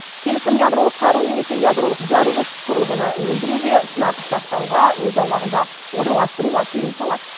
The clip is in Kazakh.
келісім ядролық қару немесе ядролық жарылғыш құрылғыны өндіруге сынап сақтауға өз аумағында орналастыруға тыйым салады